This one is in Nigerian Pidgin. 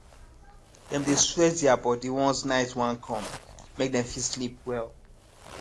dem dey their body once night wan come make dem fit sleep well